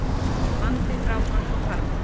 Vandi frágang á farmi